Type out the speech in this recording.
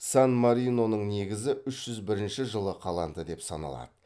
сан мариноның негізі үш жүз бірінші жылы қаланды деп саналады